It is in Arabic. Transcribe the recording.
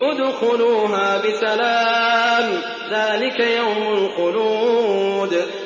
ادْخُلُوهَا بِسَلَامٍ ۖ ذَٰلِكَ يَوْمُ الْخُلُودِ